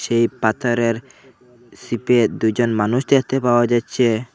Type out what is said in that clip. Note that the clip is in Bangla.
এই পাথরের চিপে দুইজন মানুষ দেখতে পাওয়া যাচ্ছে।